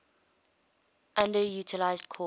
underutilized crops